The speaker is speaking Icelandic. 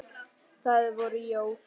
Það voru jól.